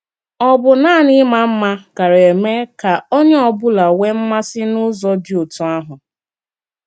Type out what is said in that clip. Ọ̀ bụ nanị ịmà mma gāara eme ka onye ọ bụla nwee mmasị n’ụzọ dị otú ahụ?